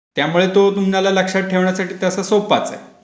त्यामुळे तो तुम्हाला लक्षात ठेवान्यासाठी तसा सोपाच आहे.